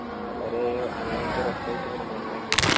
വളരെ ഭയങ്കര രസായിട്ടിങ്ങനെ പോകുന്നു